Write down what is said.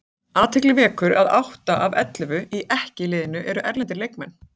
Athygli vekur að átta af ellefu í EKKI liðinu eru erlendir leikmenn.